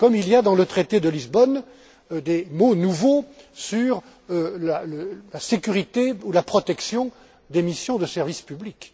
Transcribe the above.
Comme il y a dans le traité de Lisbonne des mots nouveaux sur la sécurité ou la protection des missions de service public.